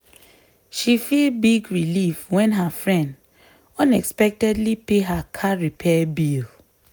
she feel big relief when her friend unexpectedly pay her car repair bill.